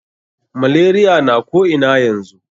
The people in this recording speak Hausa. Malaria na ko ina yanzu.